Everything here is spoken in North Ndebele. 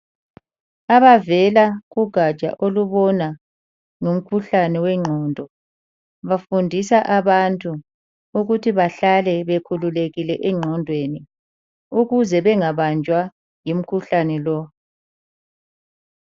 Abavela kugaja olubona ngomkhuhlane wengqondo bafundisa abantu ukuthi bahlale bekhululekile engqondweni ukuze bengabanjwa yimkhuhlane lo.